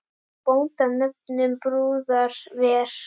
Bónda nefnum brúðar ver.